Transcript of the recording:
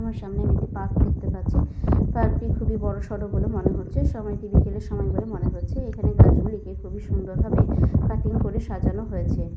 আমার সামনে আমি একটি পার্ক দেখতে পাচ্ছি। পার্ক টি খুবই বড়সড় বলে মনে হচ্ছে। সময়টি বিকেলের সময় বলে মনে হচ্ছে। এখানে গাছ গুলিকে খুবই সুন্দর ভাবে কাটিং করে সাজানো হয়েছে।